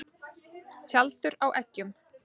Tjaldur á eggjum.